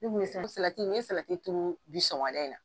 salati n'i ye salati turu bi sɔgɔmada in na